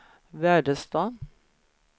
Väderstad